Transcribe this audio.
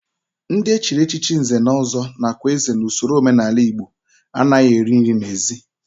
Ndị e chiri echichi nze na ọzọ nakwa eze n'usoro omenala Igbo anaghị eri nri n'ezi